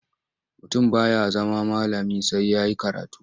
Mutum ba ya zama malami sai ya yi karatu.